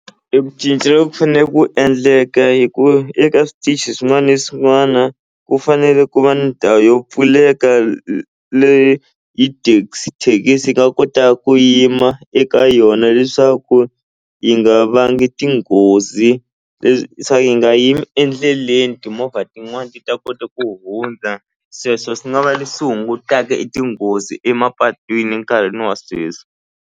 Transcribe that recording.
Eku cinca loku fanel ku endleka hi ku eka switichi swin'wana na swin'wana ku fanele ku va ni ndhawu yo pfuleka leyi yi thekisi yi nga kota ku yima eka yona leswaku yi nga vangi tinghozi leswaku yi nga yimi endleleni timovha tin'wani ti ta kota ku hundza sweswo swi nga va leswi hungutaka e tinghozi emapatwini enkarhini wa sweswi.